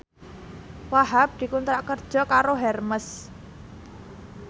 Wahhab dikontrak kerja karo Hermes